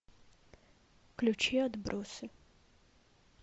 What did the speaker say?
включи отбросы